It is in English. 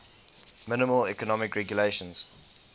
minimal economic regulations